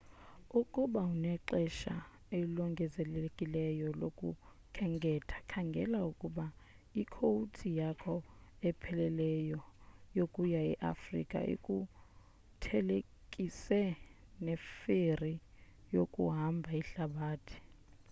ukuba unexesha elongezelelekileyo lokukhenketha khangela ukuba ikowuti yakho epheleleyo yokuya e afrika ukuthelekise neferi yokuhamba ihlabathi